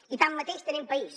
i tanmateix tenim país